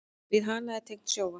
Við hana er tengt sjónvarp.